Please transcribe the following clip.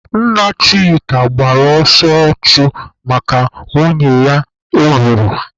Nna Chika gbara ọsọ ọchụ maka nwunye ya o gburu.